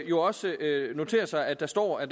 jo også notere sig at der står at